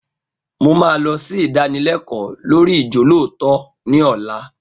Mo máa lọ sí ìdánilẹkọ́ lórii ijolootọ ní ọ̀la